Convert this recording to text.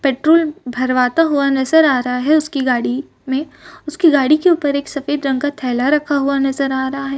Petrol भरवाता हुआ नजर आ रहा है उसकी गाड़ी मै उसके गाड़ी के उपर एक सफ़ेद रंग का थैला रखा हुआ नजर आ रहा है।